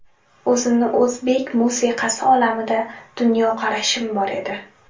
O‘zimni o‘zbek musiqasi olamida dunyoqarashim bor edi.